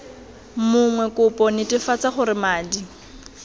mongwe kopo netefatsa gore madi